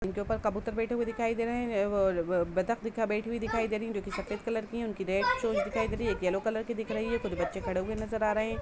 इनके ऊपर कबूतर बैठे दिखाई दे रहे है अ व् बदक बैठी दिखाई दे रही है सफ़ेद कलर की है उनकी रेड चोच दिखाई यलो कलर दिख रही है कुछ बच्चे खड़े हुए नजर आ रहे हैं।